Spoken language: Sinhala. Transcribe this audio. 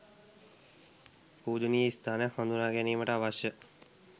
පූජනීය ස්ථානයන් හඳුනා ගැනීමට අවශ්‍ය